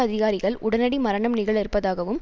அதிகாரிகள் உடனடி மரணம் நிகழ இருப்பதாகவும்